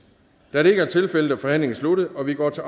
da det ikke er tilfældet er forhandlingen sluttet og vi går til